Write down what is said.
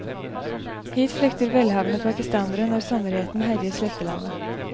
Hit flykter velhavende pakistanere når sommerheten herjer slettelandet.